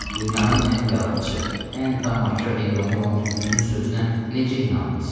dünyanın ən yalançı, ən tamahkar heyvanı olan tülkünün sözünə necə inandınız?